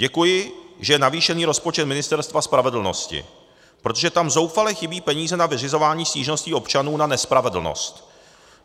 Děkuji, že je navýšen rozpočet Ministerstva spravedlnosti, protože tam zoufale chybí peníze na vyřizování stížností občanů na nespravedlnost.